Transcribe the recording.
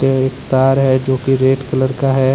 एक तार है जो कि रेड कलर का है।